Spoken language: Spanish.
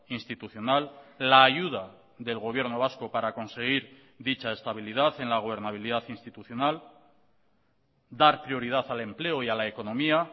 institucional la ayuda del gobierno vasco para conseguir dicha estabilidad en la gobernabilidad institucional dar prioridad al empleo y a la economía